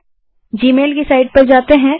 चलिए अब जीमेल की साईट पर जाते हैं